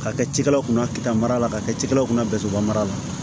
Ka kɛ cikɛlaw kunna keta mara la ka kɛ cikɛlaw kunna mara la